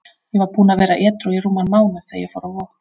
Ég var búinn að vera edrú í rúman mánuð þegar ég fór á Vog.